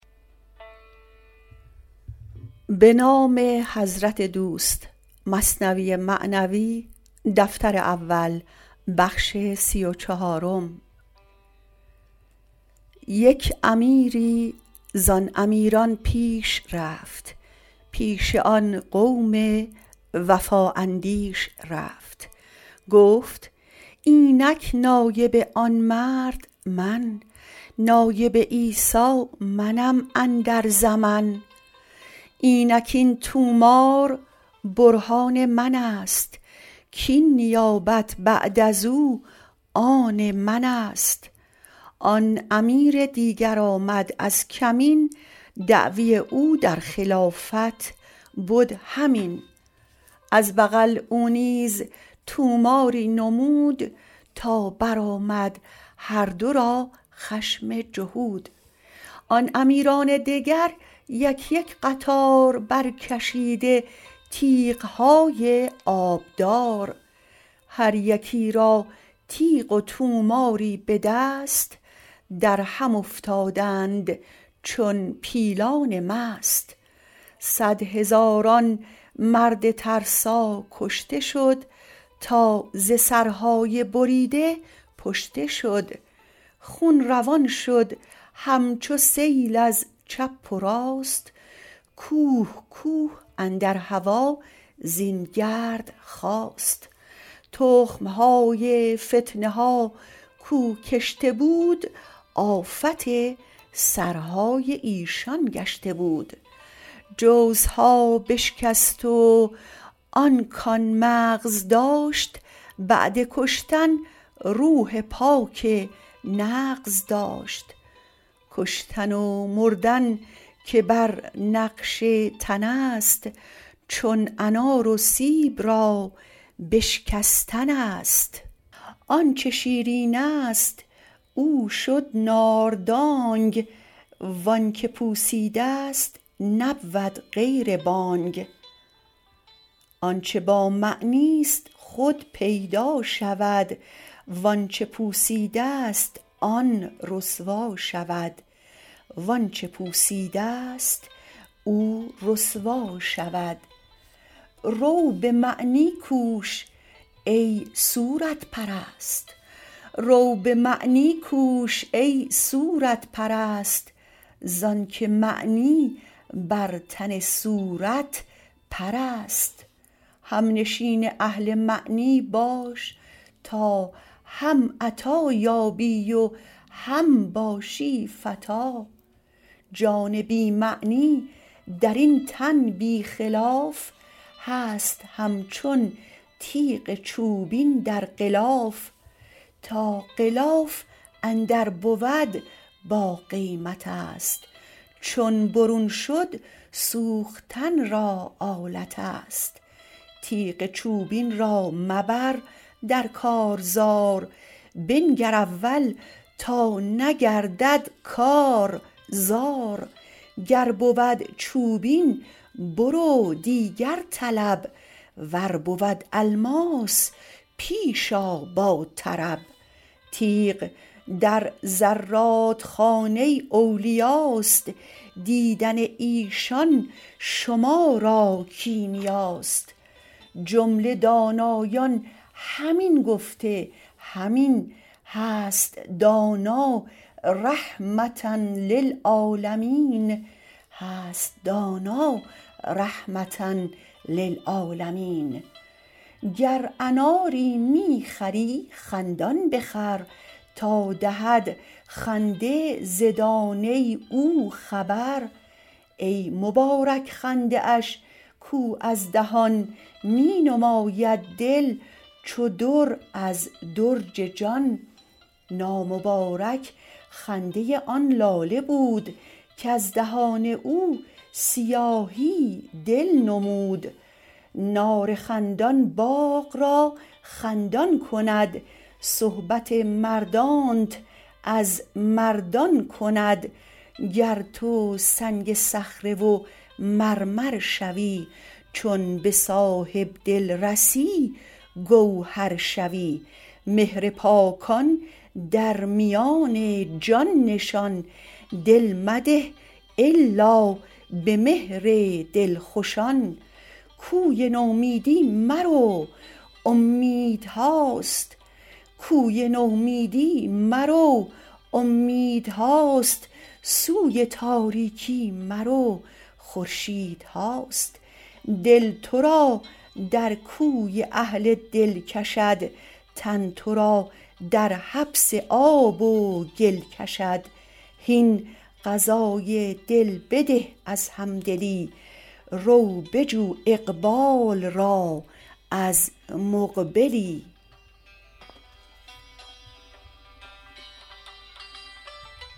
یک امیری زان امیران پیش رفت پیش آن قوم وفا اندیش رفت گفت اینک نایب آن مرد من نایب عیسی منم اندر زمن اینک این طومار برهان منست کین نیابت بعد ازو آن منست آن امیر دیگر آمد از کمین دعوی او در خلافت بد همین از بغل او نیز طوماری نمود تا برآمد هر دو را خشم جهود آن امیران دگر یک یک قطار برکشیده تیغهای آبدار هر یکی را تیغ و طوماری به دست درهم افتادند چون پیلان مست صد هزاران مرد ترسا کشته شد تا ز سرهای بریده پشته شد خون روان شد همچو سیل از چپ و راست کوه کوه اندر هوا زین گرد خاست تخم های فتنه ها کو کشته بود آفت سرهای ایشان گشته بود جوزها بشکست و آن کان مغز داشت بعد کشتن روح پاک نغز داشت کشتن و مردن که بر نقش تنست چون انار و سیب را بشکستنست آنچ شیرینست او شد ناردانگ وانک پوسیده ست نبود غیر بانگ آنچ با معنیست خود پیدا شود وانچ پوسیده ست او رسوا شود رو بمعنی کوش ای صورت پرست زانک معنی بر تن صورت پرست همنشین اهل معنی باش تا هم عطا یابی و هم باشی فتیٰ جان بی معنی درین تن بی خلاف هست همچون تیغ چوبین در غلاف تا غلاف اندر بود باقیمتست چون برون شد سوختن را آلتست تیغ چوبین را مبر در کارزار بنگر اول تا نگردد کار زار گر بود چوبین برو دیگر طلب ور بود الماس پیش آ با طرب تیغ در زرادخانه اولیاست دیدن ایشان شما را کیمیاست جمله دانایان همین گفته همین هست دانا رحمة للعالمین گر اناری می خری خندان بخر تا دهد خنده ز دانه او خبر ای مبارک خنده اش کو از دهان می نماید دل چو در از درج جان نامبارک خنده آن لاله بود کز دهان او سیاهی دل نمود نار خندان باغ را خندان کند صحبت مردانت از مردان کند گر تو سنگ صخره و مرمر شوی چون به صاحب دل رسی گوهر شوی مهر پاکان درمیان جان نشان دل مده الا به مهر دلخوشان کوی نومیدی مرو اومیدهاست سوی تاریکی مرو خورشیدهاست دل ترا در کوی اهل دل کشد تن ترا در حبس آب و گل کشد هین غذای دل بده از همدلی رو بجو اقبال را از مقبلی